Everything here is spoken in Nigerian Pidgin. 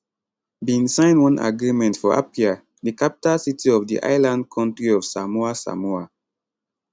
bin sign one agreement for apia di capital city of di island kontri of samoa samoa